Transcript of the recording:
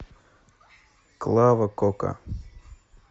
клава кока